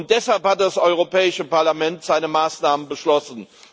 Deshalb hat das Europäische Parlament seine Maßnahmen beschlossen.